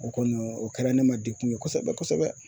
O kɔni o kɛra ne ma degun ye kosɛbɛ kosɛbɛ